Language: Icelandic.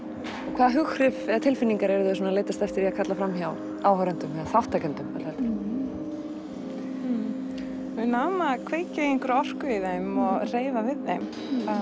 hvaða hughrif eða tilfinningar eruð þið að leitast eftir að kalla fram hjá áhorfendum eða þátttakendum við náum að kveikja einhverja orku í þeim og hreyfa við þeim